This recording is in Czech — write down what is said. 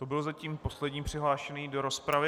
To byl zatím poslední přihlášený do rozpravy.